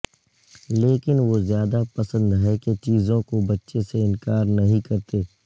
لیکن وہ زیادہ پسند ہے کہ چیزوں کو بچے سے انکار نہیں کرتے